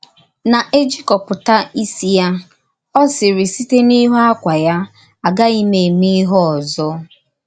Na-èjìkọ̀pùtà ísì ya, ó sịrì sītẹ̀ n’ìhù ákwá ya, Á gàghìm émè íhè òzò.